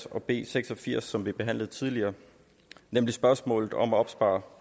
og b seks og firs som vi behandlede tidligere nemlig spørgsmålet om at opspare